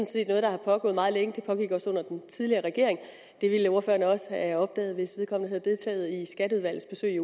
set noget der er pågået meget længe det pågik også under den tidligere regering det ville ordføreren også have opdaget hvis vedkommende havde deltaget i skatteudvalgets besøg